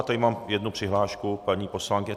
A tady mám jednu přihlášku paní poslankyně...